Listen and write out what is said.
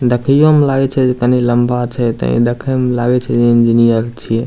देखइयो में लगै छै जे तनी लम्बा छै ते देखे में लागे छै जे इंजीनियर छीये।